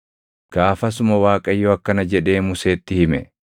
Gaafasuma Waaqayyo akkana jedhee Museetti hime;